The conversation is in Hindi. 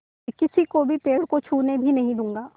मैं किसी को भी पेड़ को छूने भी नहीं दूँगा